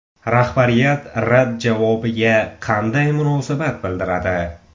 Rahbariyat rad javobiga qanday munosabat bildiradi?